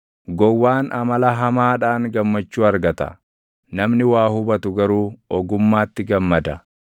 Gowwaan amala hamaadhaan gammachuu argata; namni waa hubatu garuu ogummaatti gammada.